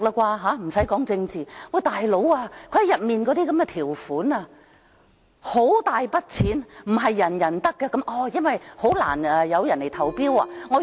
"大佬"，當中的條款涉及很大筆的金錢，不是人人可享用，因為很難會有人來投標。